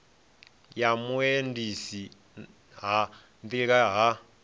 ya vhuendisi ha nḓilani ha